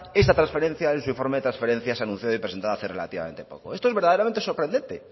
esa transferencia en su informe de transferencias anunciado y presentado hace relativamente poco esto es verdaderamente sorprendente